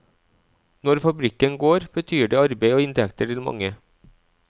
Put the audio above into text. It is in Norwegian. Når fabrikken går, betyr det arbeid og inntekter til mange.